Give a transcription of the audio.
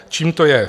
Čím to je?